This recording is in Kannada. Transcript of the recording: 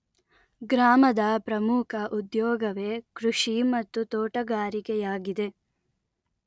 ಗ್ರಾಮದ ಪ್ರಮುಖ ಉದ್ಯೋಗವೇ ಕೃಷಿ ಮತ್ತು ತೋಟಗಾರಿಕೆಯಾಗಿದೆ